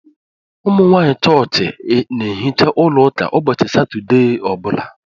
Umunwanyi chọọchị n'ehicha ụlọ ụka ụbọchị satọdee ọbula